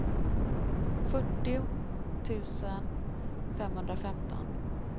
fyrtio tusen femhundrafemton